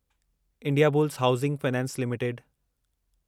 Indiabulls housing finance limited